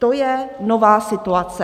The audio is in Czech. To je nová situace.